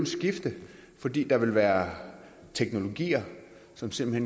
skifte fordi der vil være teknologier som simpelt